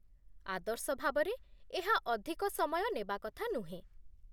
ଆଦର୍ଶ ଭାବରେ, ଏହା ଅଧିକ ସମୟ ନେବା କଥା ନୁହେଁ